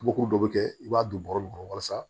Bukuru dɔ bɛ kɛ i b'a don bɔrɛ de kɔnɔ walasa